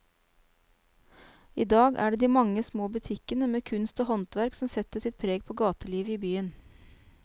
I dag er det de mange små butikkene med kunst og håndverk som setter sitt preg på gatelivet i byen.